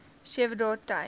sewe dae tyd